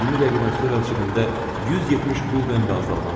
20 dəqiqədən sonra cibimdə 170 quldən və azaldan çıxdım.